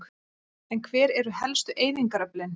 En hver eru helstu eyðingaröflin?